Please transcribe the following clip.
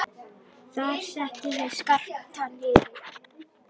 Þar settu þeir Skapta niður.